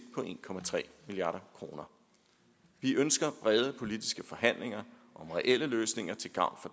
på en milliard kroner vi ønsker brede politiske forhandlinger om reelle løsninger til gavn